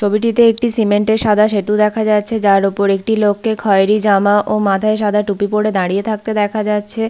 ছবিটিতে একটি সিমেন্ট -এর সাদা সেতু দেখা যাচ্ছে যার ওপর একটি লোককে খয়রী জামা ও মাথায় সাদা টুপি পরে দাঁড়িয়ে থাকতে দেখা যাচ্ছে।